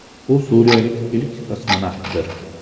U suriyalik ilk kosmonavtdir.